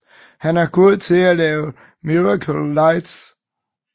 Han er god til at lave Miracle Lights